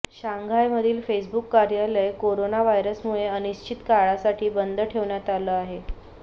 शांघायमधील Facebook कार्यालय corona व्हायरसमुळे अनिश्चित काळासाठी बंद ठेवण्यात आलं आहे